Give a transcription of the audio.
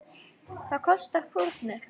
Það kostar fórnir.